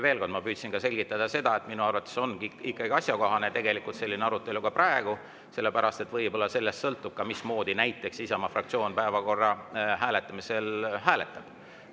Veel kord, ma püüdsin selgitada ka seda, et minu arvates on selline arutelu ikkagi praegu asjakohane, sest sellest võib-olla sõltub, mismoodi näiteks Isamaa fraktsioon päevakorra hääletab.